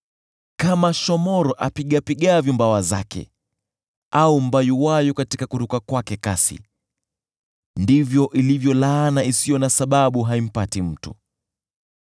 Kama shomoro apigapigavyo mabawa yake au mbayuwayu katika kuruka kwake kasi, ndivyo ilivyo laana isiyo na sababu haimpati mtu.